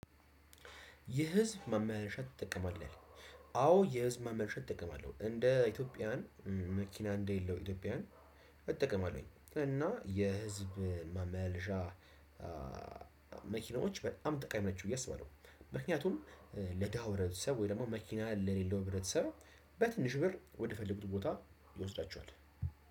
የህዝብ ማመላሻ ትጠቀማለህ? አዎ የህዝብ ማመላሻ እጠቀማለው። እንደ ኢትዮጵያውያን መኪና እንደሌለው ኢትዮጵያውያን እጠቀማለሁኝ። እና የህዝብ ማመላሻ መኪናዎች በጣም ጠቃሚ ናቸው ብየ አስባለው፣ ምክንያቱም ለድሀው ህብረተሰብ ወይ ደግሞ መኪና ለሌለው ህብረተሰብ በትንሽ ብር ወደ ፈለጉት ቦታ ይወስዳቸዋል።